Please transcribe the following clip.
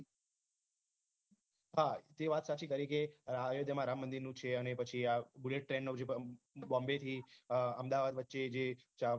તે વાત સાચી કરી કે અયોધ્યામાં રામમંદિર નું છે અને પછી આ bullet train નું જે બોમ્બે થી અહમદાવાદ વચ્ચે જે